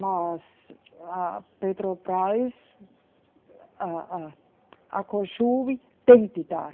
Mas a Petrobras, a, a, tem de dar.